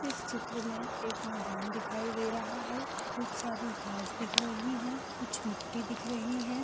इस चित्र में मुझे मैदान दिखाई दे रहा हैखूब सारी खास दिख रही हैकुछ मिट्टी दिख रही है।